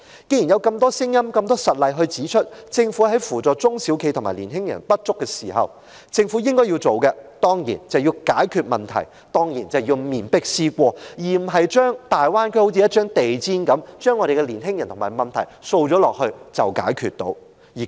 既然有這麼多聲音和實例指出，政府在扶助中小企和年青人有所不足時，政府所應做的當然是解決問題、面壁思過，而不是將我們的年青人和問題像掃進地毯底一樣掃去大灣區，便當是解決了問題。